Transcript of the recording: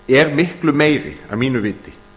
er miklu meiri að mínu viti